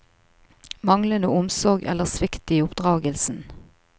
Manglende omsorg eller svikt i oppdragelsen.